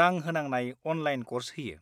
रां होनांनाय online course होयो।